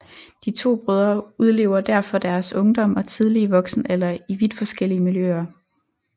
De 2 brødre udlever derfor deres ungdom og tidlige voksenalder i vidt forskellige miljøer